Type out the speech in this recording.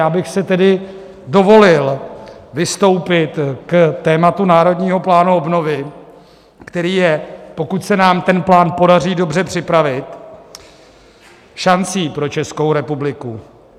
Já bych si tedy dovolil vystoupit k tématu Národního plánu obnovy, který je, pokud se nám ten plán podaří dobře připravit, šancí pro Českou republiku.